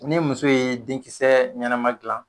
Ne muso ye denkisɛ ɲɛnama dilan.